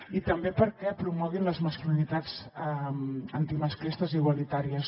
i també perquè promoguin les masculinitats antimasclistes i igualitàries